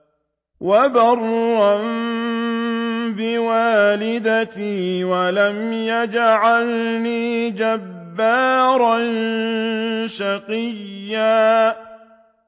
وَبَرًّا بِوَالِدَتِي وَلَمْ يَجْعَلْنِي جَبَّارًا شَقِيًّا